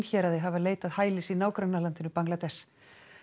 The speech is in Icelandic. héraði hafa leitað hælis í nágrannaríkinu Bangladess